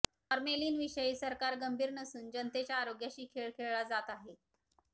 formalin विषयी सरकार गंभिर नसून जनतेच्या आरोग्याशी खेळ खेळला जात आहे